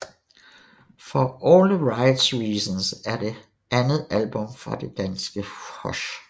For All The Right Reasons er det andet album fra danske Hush